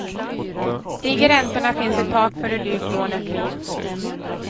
Stiger räntorna finns ett tak för hur dyrt lånet blir.